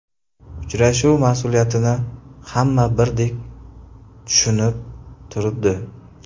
Uchrashuv mas’uliyatini hamma birdek tushunib turibdi”.